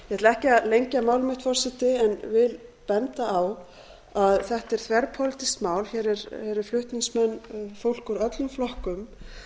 ekki að lengja mál mitt forseti en vil benda á að þetta er þverpólitískt mál hér eru flutningsmenn fólk úr öllum flokkum